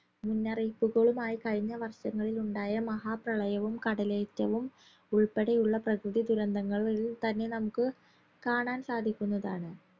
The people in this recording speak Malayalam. മുന്നറിയിപ്പുകളുമായി കഴിഞ്ഞ വർഷങ്ങളിലുണ്ടായ മഹാ പ്രളയവും കടലേറ്റവും ഉൾപ്പെടെയുള്ള പ്രകൃതി ദുരന്തങ്ങൾ ൾ തന്നെ നമുക്ക് കാണാൻ സാധിക്കുന്നതാണ്